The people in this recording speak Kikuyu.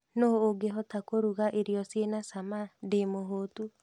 Nũũ ungĩhota kũrũga irio cina cama ndĩ mũhũtu